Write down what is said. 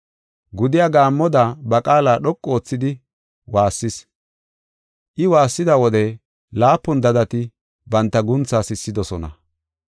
Gudiya gaammoda ba qaala dhoqu oothidi waassis. I waassida wode laapun dadati banta guuntha sissidosona.